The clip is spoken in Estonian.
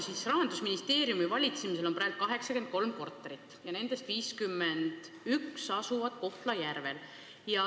Rahandusministeeriumi valitseda on praegu 83 korterit ja nendest 51 asuvad Kohtla-Järvel.